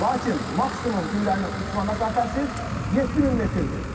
Lakin maksimum güllənin uçuş məsafəsi 7000 metrdir.